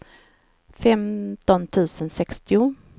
femton tusen sextio